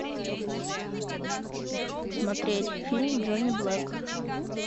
смотреть фильм джонни блэк